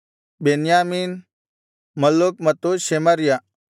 ಬೆನ್ಯಾಮೀನ್ Malluch ಮತ್ತು Shemariah